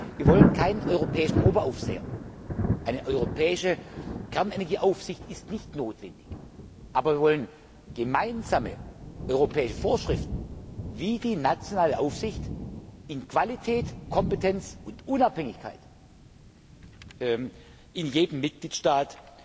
Wir wollen keinen europäischen Oberaufseher eine europäische Kernenergieaufsicht ist nicht notwendig sondern wir wollen gemeinsame europäische Vorschriften, wie die nationale Aufsicht in Bezug auf Qualität, Kompetenz und Unabhängigkeit in jedem Mitgliedstaat